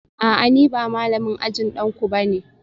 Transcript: A'a ni ba malamin ajin danku ba ne